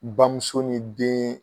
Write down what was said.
Bamuso ni den